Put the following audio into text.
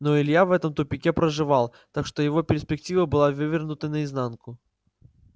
но илья в этом тупике проживал так что его перспектива была вывернута наизнанку